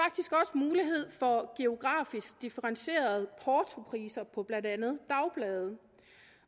mulighed for geografisk differentierede portopriser på blandt andet dagblade